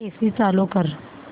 AC चालू कर